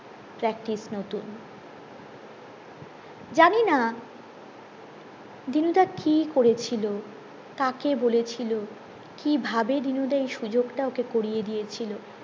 practice নতুন জানিনা দিনু দা কি করেছিল কাকে বলেছিলো কি ভাবে দিনু দা এই সুযোক টা ওকে করিয়ে দিয়েছিলো